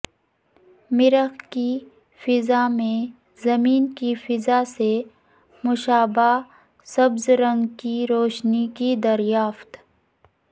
مریخ کی فضاء میں زمین کی فضاء سے مشابہہ سبز رنگ کی روشنی کی دریافت